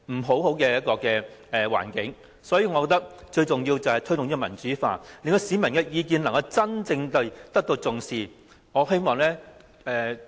所以，我認為，最需要的改革是推動民主化，令市民的意見真正受到重視。